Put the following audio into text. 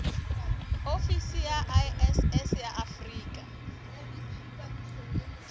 ofisi ya iss ya afrika